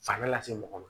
Fanga lase mɔgɔ ma